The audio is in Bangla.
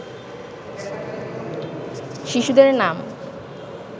শিশুদের নাম